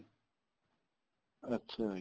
ਅੱਛਾ ਜੀ